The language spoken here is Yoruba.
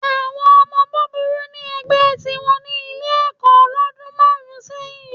Àwọn ọmọ búburú ní ẹgbẹ́ tìwọn ní Ilé-ẹ̀kọ́ lọ́dún márùn-ún sẹ́yìn